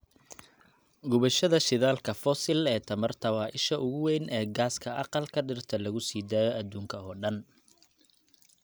Gubashada shidaalka fosil ee tamarta waa isha ugu weyn ee gaaska aqalka dhirta lagu sii daayo adduunka oo dhan.